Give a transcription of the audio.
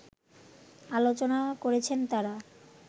আলোচনা করেছেন তারা